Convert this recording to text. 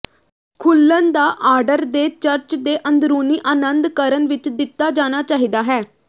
ਖੁਲਣ ਦਾ ਆਰਡਰ ਦੇ ਚਰਚ ਦੇ ਅੰਦਰੂਨੀ ਆਨੰਦ ਕਰਨ ਵਿੱਚ ਦਿੱਤਾ ਜਾਣਾ ਚਾਹੀਦਾ ਹੈ